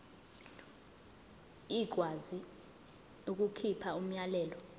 ikwazi ukukhipha umyalelo